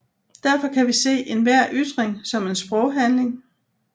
Derfor kan vi se enhver ytring som en sproghandling